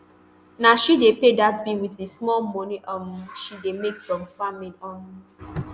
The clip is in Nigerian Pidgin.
na she dey pay dat bill wit di small moni um she dey make from farming um